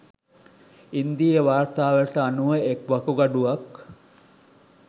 ඉන්දීය වාර්තාවලට අනුව එක් වකුගඩුවක්